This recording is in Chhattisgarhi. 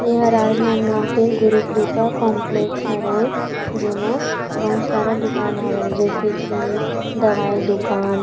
ये हा राजनांदगाँव के गुरु कृपा कॉम्प्लेक्स हरे जेमा बहुत सारा दुकान हवय जइसे की दवाई दुकान--